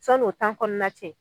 Sann'o tan kɔnɔna cɛ